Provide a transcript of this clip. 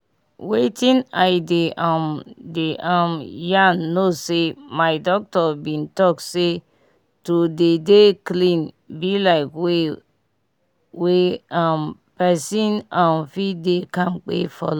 wetin i dey um dey um yan no say my doctor bin talk say to dey dey clean bi like way wey um pesin um fit dey kampe for long